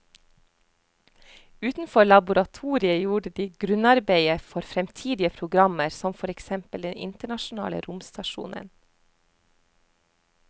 Utenfor laboratoriet gjorde de grunnarbeidet for fremtidige programmer som for eksempel den internasjonale romstasjonen.